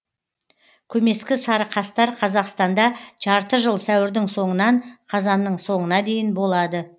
көмескі сарықастар қазақстанда жарты жыл сәуірдің соңынан қазанның соңына дейін болады